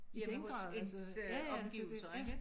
Hjemme hos ens øh omgivelser ikke